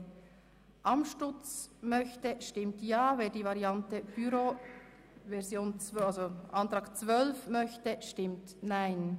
FDP] / Luginbühl-Bachmann, Krattigen [BDP] / Mühlheim, Bern [glp] / Schwarz, Adelboden [EDU] – Nr. 11)